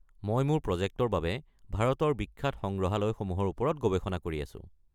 মই মোৰ প্ৰজেক্টৰ বাবে ভাৰতৰ বিখ্যাত সংগ্ৰহালয়সমূহৰ ওপৰত গৱেষণা কৰি আছো।